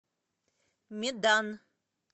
медан